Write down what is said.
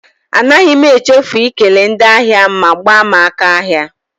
Anaghị m echefu ikele ndị ahịa m ma gbaa m aka ahịa.